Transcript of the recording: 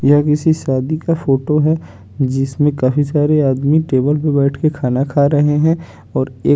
यह किसी शादी का फोटो है जिसमे काफी सारे आदमी टेबल पर बेठ कर खाना खा रहे है और एक--